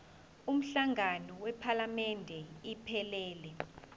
umhlangano wephalamende iphelele